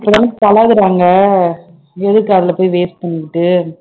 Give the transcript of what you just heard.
இப்ப தான பழகறாங்க எதுக்கு அதுல போய் waste பண்ணிட்டு